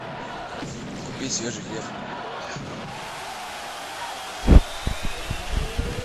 купи свежий хлеб